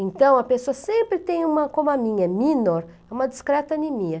Então, a pessoa sempre tem uma, como a minha é minor, uma discreta anemia.